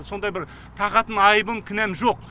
сондай бір тағатын айыбым кінәм жоқ